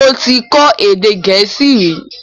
Mi ò tí ì kọ́ èdè Gẹ̀ẹ́sì rí.